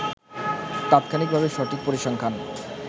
তাৎক্ষণিকভাবে সঠিক পরিসংখ্যান